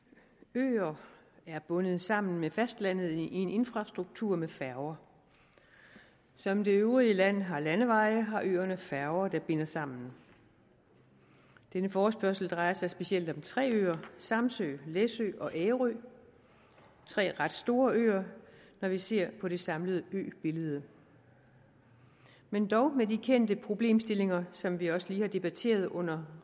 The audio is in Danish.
øer er bundet sammen med fastlandet i en infrastruktur med færger som det øvrige land har landeveje har øerne færger der binder sammen denne forespørgsel drejer sig specielt om tre øer samsø læsø og ærø tre ret store øer når vi ser på det samlede øbillede men dog med de kendte problemstillinger som vi også lige har debatteret under